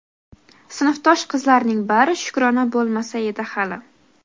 "Sinfdosh qizlarning bari Shukrona bo‘lmasa edi hali".